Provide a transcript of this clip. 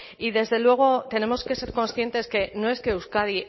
y desde luego tenemos que ser conscientes que no es que euskadi